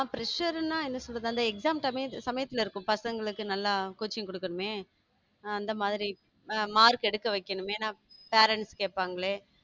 Pressure ன்னா என்ன சொல்றது அந்த exam சமயத்துல இருக்கும் பசங்களுக்கு நல்லா coaching குடுக்கறமே அந்த மாதிரி அ mark எடுக்க வைக்கணுமே parents கேட்பாங்களே